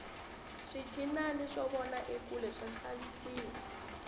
swinchinana swo vona ekule swa xavisiwa